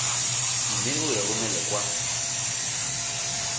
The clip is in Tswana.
mme o e romele kwa